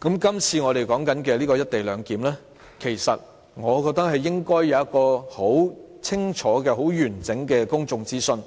這次我們討論的"一地兩檢"安排，我覺得應該要有很清楚和完整的公眾諮詢；